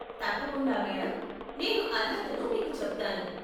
తప్పకుండా మేడం! నేను అర్హతను మీకు చెప్తాను.